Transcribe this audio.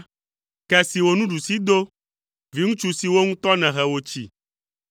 ke si wò nuɖusi do, viŋutsu si wò ŋutɔ nèhe wòtsi.